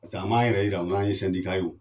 pasek'an m'an yɛrɛ yira k'an ye sɛndika ye o